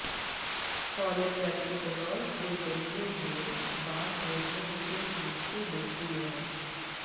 cholecalciferol के जलीय घोल बाल रोग में विशेष रूप से लोकप्रिय है